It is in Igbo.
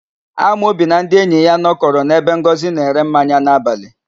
Amobi na ndị enyi ya nọkọrọ n'ebe Ngọzị na-ere mmanya n'abalị.